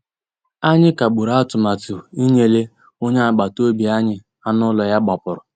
Ànyị́ kàgbùrụ́ àtụ̀màtụ́ ìnyélè ónyé àgbàtà òbí ànyị́ ànú ụ́lọ́ yá gbàpùrụ́.